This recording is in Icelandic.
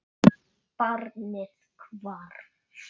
Barnið hvarf.